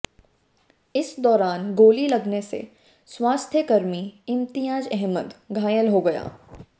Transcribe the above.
इस दौरान गोली लगने से स्वास्थ्यकर्मी इम्तियाज अहमद घायल हो गया